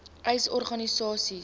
uys sê organisasies